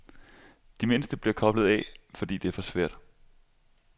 De mindste bliver koblet af, fordi det er for svært.